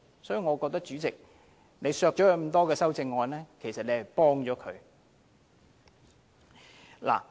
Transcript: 所以，我認為主席削走他這麼多項修正案，其實是幫了他。